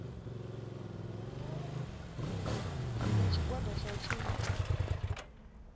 ya tshigwada tsha u tshimbidza